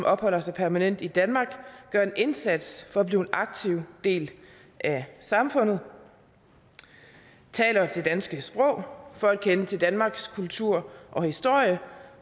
opholder sig permanent i danmark gør en indsats for at blive en aktiv del af samfundet taler det danske sprog kender til danmarks kultur og historie